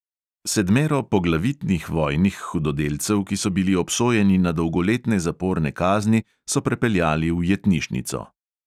Sedmero poglavitnih vojnih hudodelcev, ki so bili obsojeni na dolgoletne zaporne kazni, so prepeljali v jetnišnico.